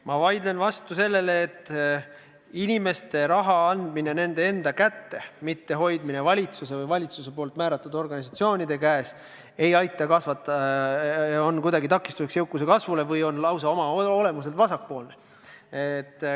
Ma vaidlen vastu ka sellele, et inimeste raha andmine nende enda kätte, mitte selle hoidmine valitsuse või valitsuse määratud organisatsioonide käes, on kuidagi takistuseks jõukuse kasvule või lausa oma olemuselt vasakpoolne.